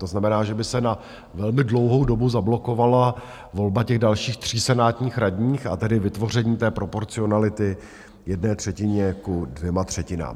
To znamená, že by se na velmi dlouhou dobu zablokovala volba těch dalších 3 senátních radních, a tedy vytvoření té proporcionality jedné třetiny ku dvěma třetinám.